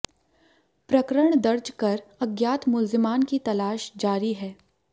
प्रकरण दर्ज कर अज्ञात मुल्जिमान की तलाश जारी है